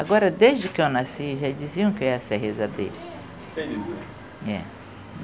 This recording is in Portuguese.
Agora, desde que eu nasci, já diziam que eu ia ser rezadeira. Entendi. É.